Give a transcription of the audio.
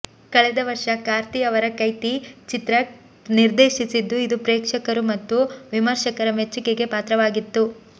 ಕಳೆದ ವರ್ಷ ಕಾರ್ತಿಯವರ ಕೈತಿ ಚಿತ್ರ ನಿರ್ದೇಶಿಸಿದ್ದು ಇದು ಪ್ರೇಕ್ಷಕರು ಮತ್ತು ವಿಮರ್ಶಕರ ಮೆಚ್ಚುಗೆಗೆ ಪಾತ್ರವಾಗಿತ್ತು